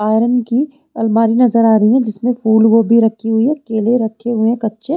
iron की अल्मारी नज़र आ रही है जिसमें फूलगोभी रखी हुई है केले रखे हुए है कच्चे --